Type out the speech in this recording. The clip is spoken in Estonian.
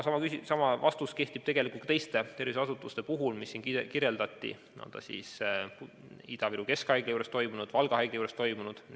Sama vastus kehtib tegelikult ka teiste tervishoiuasutuste puhul, mida siin kirjeldati, puudutagu ta siis Ida-Viru Keskhaigla juures toimunut või Valga haigla juures toimunut.